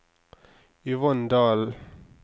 Yvonne Dalen